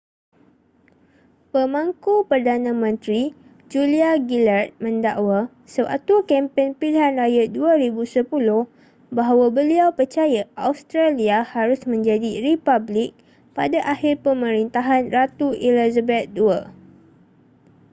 pemangku perdana menteri julia gillard mendakwa sewaktu kempen pilihan raya 2010 bahawa beliau percaya australia harus menjadi republik pada akhir pemerintahan ratu elizabeth ii